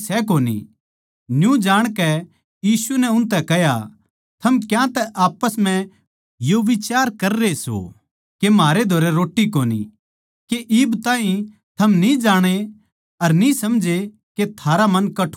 न्यू जाणकै यीशु नै उनतै कह्या थम क्यांतै आप्पस म्ह यो बिचार कररे सो के म्हारै धोरै रोट्टी कोनी के इब ताहीं थम न्ही जाणे अर न्ही समझे के थारा मन कठोर होग्या सै